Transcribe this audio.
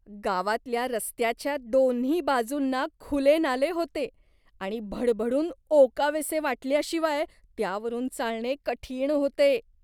गावातल्या रस्त्याच्या दोन्ही बाजूंना खुले नाले होते आणि भडभडून ओकावेसे वाटल्याशिवाय त्यावरून चालणे कठीण होते.